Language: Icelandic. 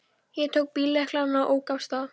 Ég tók bíllyklana og ók af stað.